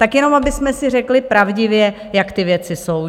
Tak jenom abychom si řekli pravdivě, jak ty věci jsou.